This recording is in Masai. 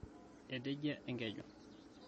etejia enkeju